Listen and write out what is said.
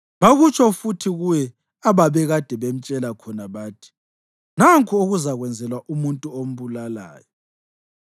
Bakutsho futhi kuye ababekade bemtshela khona bathi, “Nanku okuzakwenzelwa umuntu ombulalayo.”